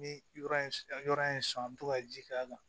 Ni yɔrɔ in yɔrɔ in ye san an bɛ to ka ji k'a kan